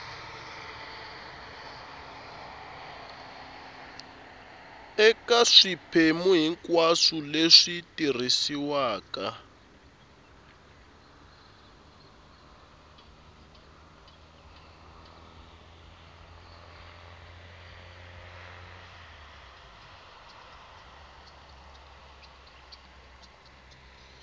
eka swiphemu hinkwaswo leswi tirhisiwaka